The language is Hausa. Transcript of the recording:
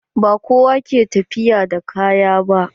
Ba kowa ke tafiya da kaya ba.